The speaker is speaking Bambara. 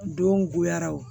Don goyara wo